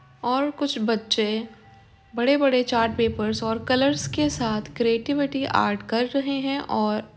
और कुछ बच्चे बड़े-बड़े चार्ट पेपर्स और कलर के साथ क्रिएटिविटी आर्ट कर रहे हैं और --